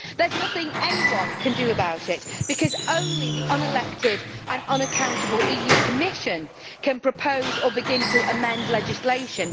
There is nothing anyone can do about it because only the unelected and unaccountable EU Commission can propose or begin to amend legislation.